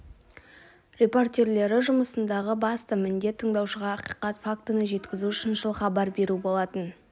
репортерлері жұмысындағы басты міндет тыңдаушыға ақиқат фактіні жеткізу шыншыл хабар беру болатын